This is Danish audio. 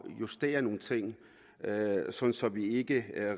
justere nogle ting så vi ikke